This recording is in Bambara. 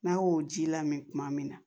N'a y'o ji lamɛn kuma min na